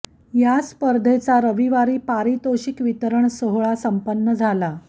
या स्पर्धेचा रविवारी पारितोषिक वितरण सोहळा संपन्न झाला